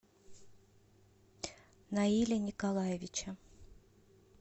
наиля николаевича